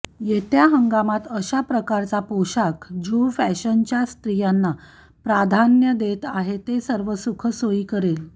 येत्या हंगामात अशा प्रकारचा पोशाख जो फॅशनच्या स्त्रियांना प्राधान्य देत आहे ते सर्व सुखसोयी करेल